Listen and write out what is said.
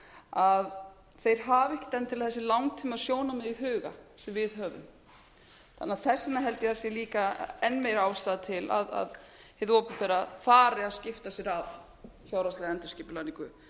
að þeir hafa ekkert endilega þessi langtímasjónarmið í huga sem við höfum þannig að þess vegna held ég að það sé líka enn meiri ástæða til að hið opinbera fari að skipta sér af fjárhagslegri endurskipulagningu